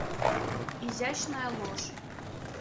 изящная ложь